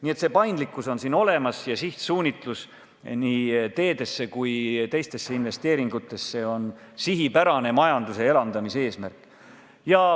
Nii et paindlikkus on olemas ja sihtsuunitlus nii teede- kui ka teiste investeeringute tegemisele on sihipärane majanduse elavdamise eesmärk.